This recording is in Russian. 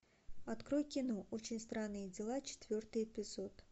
открой кино очень странные дела четвертый эпизод